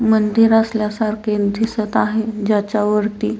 मंदिर असल्या सारखे दिसत आहे जाच्यावरती--